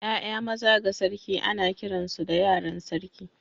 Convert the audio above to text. ’Ya’ya maza ga sarki ana kiransu da yaran sarki.